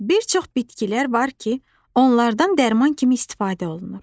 Bir çox bitkilər var ki, onlardan dərman kimi istifadə olunur.